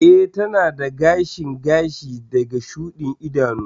Ee, tana da gashin gashi da shudin idanu.